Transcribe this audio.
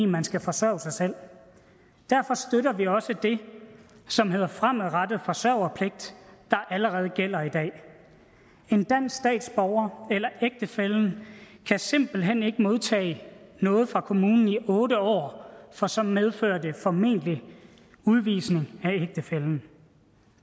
man skal forsørge sig selv derfor støtter vi også det som hedder fremadrettet forsørgerpligt der allerede gælder i dag en dansk statsborger eller ægtefællen kan simpelt hen ikke modtage noget fra kommunen i otte år for så medfører det formentlig udvisning af ægtefællen